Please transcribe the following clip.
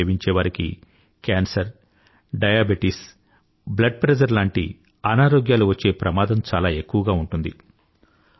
తంబాకు సేవించేవారికి cancer diabetes రక్తపోటు లాంటి అనారోగ్యాలు వచ్చే ప్రమాదం చాలా ఎక్కువగా ఉంటుంది